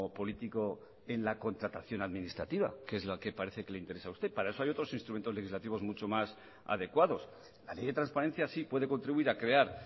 político en la contratación administrativa que es la que parece que le interesa a usted para eso hay otros instrumentos legislativos mucho más adecuados la ley de transparencia sí puede contribuir a crear